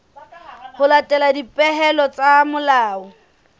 ho latela dipehelo tsa molao